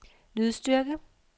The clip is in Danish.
lydstyrke